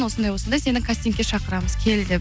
осындай осындай сені кастингке шақырамыз кел деп